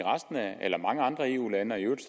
mange andre eu lande og i øvrigt